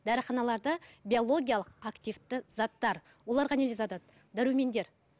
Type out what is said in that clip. дәріханаларда биологиялық активті заттар оларға не дәрумендер